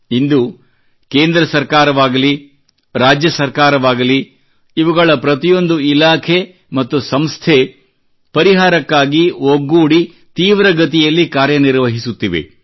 ಇಂದು ಕೇಂದ್ರ ಸರ್ಕಾರವಾಗಲಿ ರಾಜ್ಯ ಸರ್ಕಾರವಾಗಲಿ ಇವುಗಳ ಪ್ರತಿಯೊಂದು ಇಲಾಖೆ ಮತ್ತು ಸಂಸ್ಥೆ ಪರಿಹಾರಕ್ಕಾಗಿ ಒಗ್ಗೂಡಿ ತೀವ್ರಗತಿಯಲ್ಲಿ ಕಾರ್ಯನಿರ್ವಹಿಸುತ್ತಿವೆ